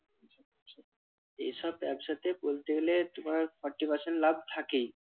এসব ব্যবসাতে বলতে গেলে তোমার fourty percent লাভ থাকেই।